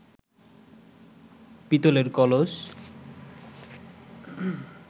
পিতলের কলস